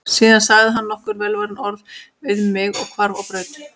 Síðan sagði hann nokkur velvalin orð við mig og hvarf á braut.